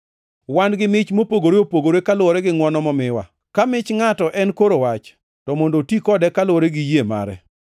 Wan gi mich mopogore opogore kaluwore gi ngʼwono momiwa. Ka mich ngʼato en koro wach, to mondo oti kode kaluwore gi yie mare.